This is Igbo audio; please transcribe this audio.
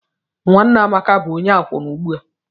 Nwanne Amaka bụ onye akwụna ugbu a.